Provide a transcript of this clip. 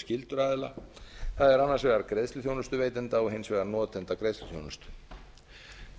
skyldur aðila það er annars vegar greiðsluþjónusta veitenda og hins vegar notendagreiðsluþjónusta